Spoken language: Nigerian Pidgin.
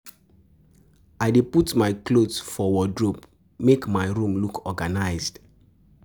I dey put my clothes for wardrobe, make my room look organized